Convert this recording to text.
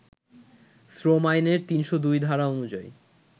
শ্রম আইনের ৩০২ ধারা অনুযায়ী